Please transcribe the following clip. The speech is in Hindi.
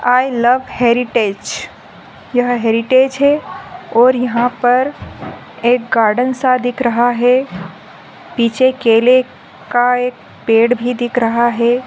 आई लव हेरीटेज़ । यह हेरीटेज़ है। और यहा पर एक गार्डेन सा दिख रहा है। पीछे केले का एक पेड़ भी दिख रहा है।